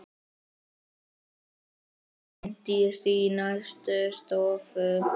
Bryndís í næstu stofu!